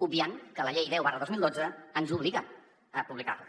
obviant que la llei deu dos mil dotze ens obliga a publicar les